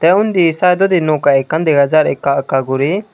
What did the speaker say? te undi saetodi noka ekkan dega jar ekka ekka gori.